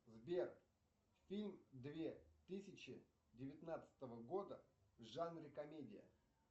сбер фильм две тысячи девятнадцатого года в жанре комедия